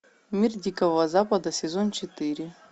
мир дикого запада сезон четыре